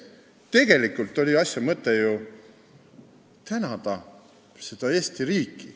Tegelikult oli asja mõte ju tänada Eesti riiki.